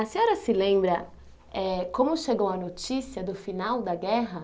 A senhora se lembra eh como chegou a notícia do final da guerra?